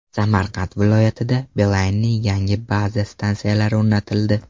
Samarqand viloyatida Beeline’ning yangi baza stansiyalari o‘rnatildi.